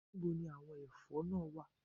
Níbo ni àwọn ẹ̀fọ́ náà wà